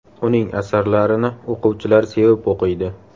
Uning asarlarini o‘quvchilar sevib o‘qiydi.